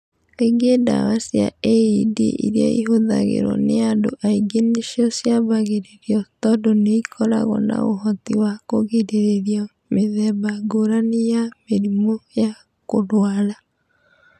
Kaingĩ ndawa cia AED iria ihũthagĩrũo nĩ andũ aingĩ nĩcio ciambagĩrĩrio tondũ nĩ ikoragwo na ũhoti wa kũgirĩrĩria mĩthemba ngũrani ya mĩrimũ ya kũrũara.